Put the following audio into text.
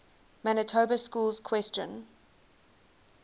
manitoba schools question